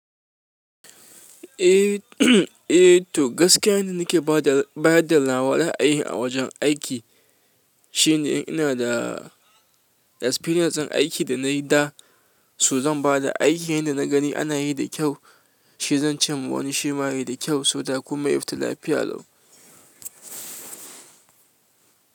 Eh, to gaskiya yanda nake bada, bada nawa ra'ayin a wajen aiki shine in ina da experience ɗin aiki da nayi da so zan bada aiki yinda na gani ana yi da kyau, shi zan cimma wani shima yai da kyau, so that komai ya fita lafiya lau.